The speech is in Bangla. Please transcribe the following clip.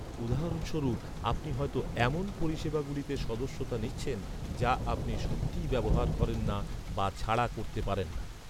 উদাহরণস্বরূপ, আপনি হয়ত এমন পরিষেবাগুলিতে সদস্যতা নিচ্ছেন, যা আপনি সত্যিই ব্যবহার করেন না বা ছাড়া করতে পারেন না৷